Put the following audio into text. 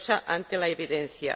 ante la evidencia.